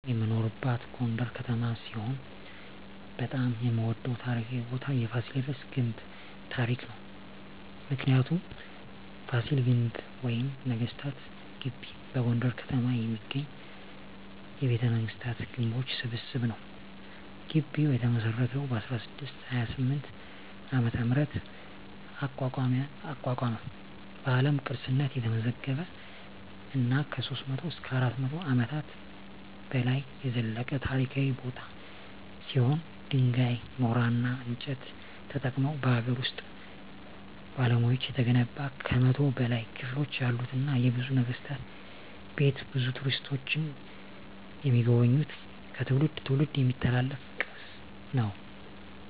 እኔ የምኖርበት ጎንደር ከተማ ሲሆን በጣም የምወደው ታሪካዊ ቦታ የፋሲለደስ ግንብ ታሪክ ነው። ምክንያቱ : ፋሲል ግንብ ወይም ነገስታት ግቢ በጎንደር ከተማ የሚገኝ የቤተመንግስታት ግንቦች ስብስብ ነው። ግቢው የተመሰረተው በ1628 ዓ.ም አቋቋመ በአለም ቅርስነት የተመዘገበ እና ከ300-400 አመታት በላይ የዘለቀ ታሪካዊ ቦታ ሲሆን ድንጋይ ,ኖራና እንጨት ተጠቅመው በሀገር ውስጥ ባለሙያዎች የተገነባ ከ100 በላይ ክፍሎች ያሉትና የብዙ ነገስታት ቤት ብዙ ቱሪስቶች የሚጎበኙት ከትውልድ ትውልድ የሚተላለፍ ቅርስ ነው።